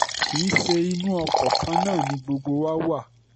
kì í ṣe inú oko kan náà ni gbogbo wa wà